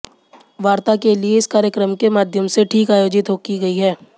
वार्ता के लिए इस कार्यक्रम के माध्यम से ठीक आयोजित की गई